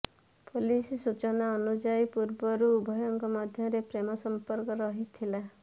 police ସୂଚନା ଅନୁଯାୟୀ ପୂର୍ବରୁ ଉଭୟଙ୍କ ମଧ୍ୟରେ ପ୍ରେମ ସଂପର୍କ ରହିଥିଲା